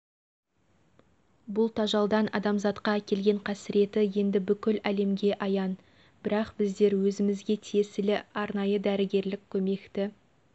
бұл тажалдан адамзатқа әкелген қасіреті енді бүкіл әлемге аян бірақ біздер өзімізге тиесілі арнайы дәрігерлік көмекті